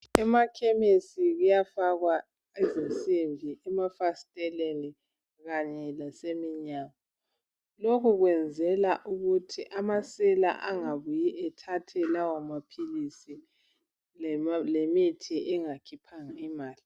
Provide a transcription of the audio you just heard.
Emakhemisi kuyafakwa izimsimbi emafasteleni kanye laseminyango lokhu kuyenzelwa ukuthi amasela angabuyi athathe lawo maphilizi lemithi bengakhiphanga imali.